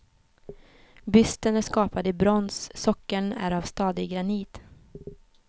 Bysten är skapad i brons, sockeln är av stadig granit.